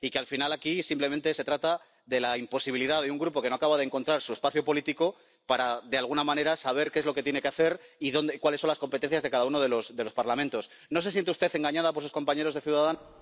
Al final, aquí, simplemente se trata de la imposibilidad de un Grupo que no acaba de encontrar su espacio político y que, de alguna manera, quiere saber qué es lo que tiene que hacer y cuáles son las competencias de cada uno de los parlamentos ¿No se siente usted engañada por sus compañeros de Ciudadanos?